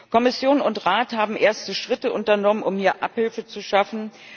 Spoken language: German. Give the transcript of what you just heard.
Kommission und Rat haben erste Schritte unternommen, um hier Abhilfe zu schaffen.